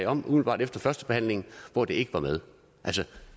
om umiddelbart efter førstebehandlingen hvor det ikke var med